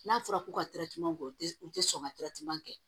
N'a fɔra ko ka kɛ u te u te sɔn ka kɛ